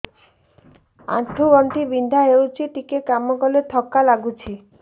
ଆଣ୍ଠୁ ଗଣ୍ଠି ବିନ୍ଧା ହେଉଛି ଟିକେ କାମ କଲେ ଥକ୍କା ଲାଗୁଚି